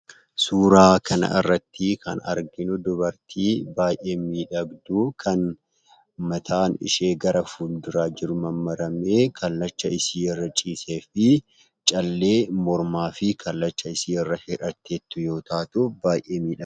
Suuraa kanarratti kan arginuu dubartii baayyee miidhagdu kan mataan ishee gara fuulduraa jiru mammaramee kallacha isii irra ciiseefi callee mormaa fi kallachashiirra hidhateetu yoo taatuu baayyee miidhaga.